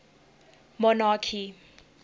monarchy